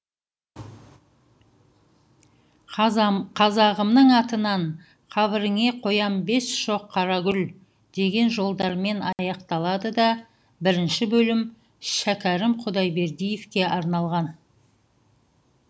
қазағымның атынан қабіріңе қоям бес шоқ қара гүл деген жолдармен аяқталады да бірінші бөлім шәкерім құдайбердиевке арналған